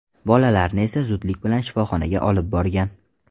Bolalarni esa zudlik bilan shifoxonaga olib borgan.